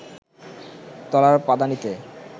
তলার পাদানিতে